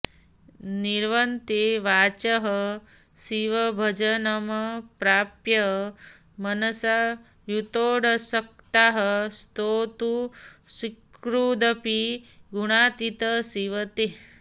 निवर्तन्ते वाचः शिवभजनमप्राप्य मनसा यतोऽशक्ताः स्तोतुं सकृदपि गुणातीत शिव ते